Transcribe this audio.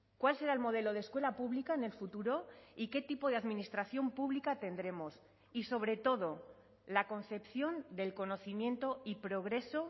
cuál será el modelo de escuela pública en el futuro y qué tipo de administración pública tendremos y sobre todo la concepción del conocimiento y progreso